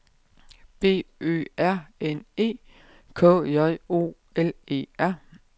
B Ø R N E K J O L E R